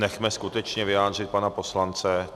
Nechme skutečně vyjádřit pana poslance.